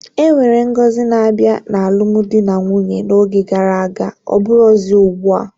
Enwere ngọzi na-abịa n'alụmdi na nwunye n'oge gara aga ọbụrozi ugbua